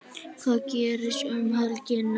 Hvað gerist um helgina?